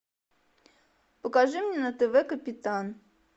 покажи мне на тв капитан